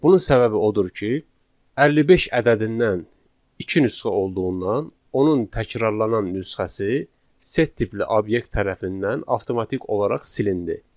Bunun səbəbi odur ki, 55 ədədindən iki nüsxə olduğundan, onun təkrarlanan nüsxəsi set tipli obyekt tərəfindən avtomatik olaraq silindi.